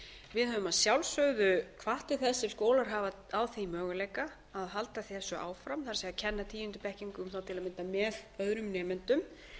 við höfum að sjálfsögðu hvatt til þess ef skólar hafa á því möguleika að halda þessu áfram það er að kenna tíundu bekkingum á til að mynda með öðrum nemendum